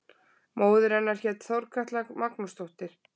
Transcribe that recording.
Móðir hennar hét Þorkatla Magnúsdóttir.